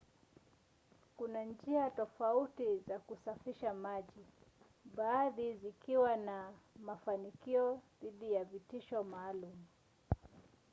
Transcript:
kuna njia tofauti za kusafisha maji baadhi zikiwa na mafanikio dhidi ya vitishio maalum